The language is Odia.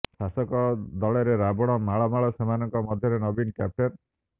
ଶାସକ ଦଳରେ ରାବଣ ମାଳ ମାଳ ସେମାନଙ୍କ ମଧ୍ୟରେ ନବୀନ କ୍ୟାପ୍ଟେନ୍